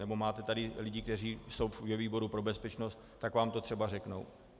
Nebo máte tady lidi, kteří jsou ve výboru pro bezpečnost, tak vám to třeba řeknou.